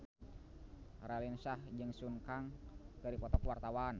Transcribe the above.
Raline Shah jeung Sun Kang keur dipoto ku wartawan